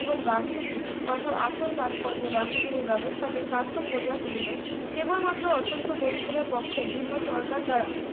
এবং গান্ধীজীর কথার আসল তাৎপর্য গান্ধীজীর এই ব্যবস্থাকে সার্থক করিয়া তুলিল কেবলমাত্র অত্যন্ত দরিদ্রদের পক্ষে ভিন্ন সরকার দ্বারা